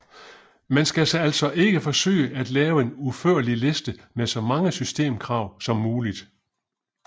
Man skal altså ikke forsøge at lave en udførlig liste med så mange systemkrav som muligt